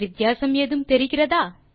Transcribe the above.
வித்தியாசம் ஏதும் தெரிகிறதா